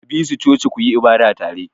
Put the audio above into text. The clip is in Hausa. Ka bi su coci ku yi ibada tare!